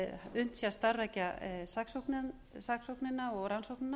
unnt sé að starfrækja saksóknina og rannsóknina